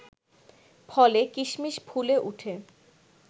ফলে কিশমিশ ফুলে উঠে